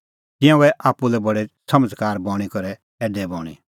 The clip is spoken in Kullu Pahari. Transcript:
तिंयां गऐ आप्पू लै बडै समझ़कार समझ़ी करै ऐडै बणीं